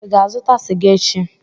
Ị ga-azụta sịga echi?